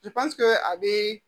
a bɛ